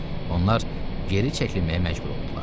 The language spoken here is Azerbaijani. Onlar geri çəkilməyə məcbur oldular.